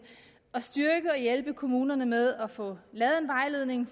at styrke og hjælpe kommunerne med at få lavet en vejledning